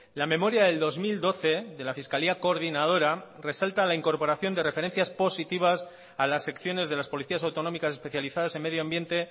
la memoria del dos mil doce de la fiscalía coordinadora resalta la incorporación de referencias positivas a las secciones de las policías autonómicas especializadas en medio ambiente